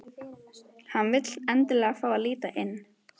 Hann vill endilega fá að líta inn.